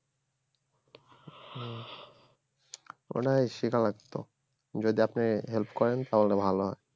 ওটাই শেখা লাগতো যদি আপনি help করেন তাহলে ভালো হয়